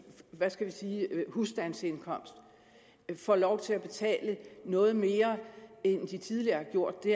husstandsindkomst får lov til at betale noget mere end de tidligere har gjort det